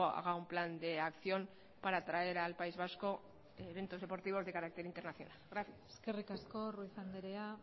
haga un plan de acción para traer al país vasco eventos deportivos de carácter internacionales gracias eskerrik asko ruiz anderea